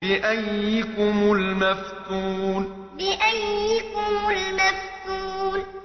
بِأَييِّكُمُ الْمَفْتُونُ بِأَييِّكُمُ الْمَفْتُونُ